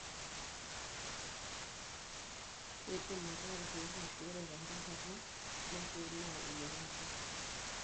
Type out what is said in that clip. kindim ataa ilkeek ashu ore tenkae kataa napii na eyiangata.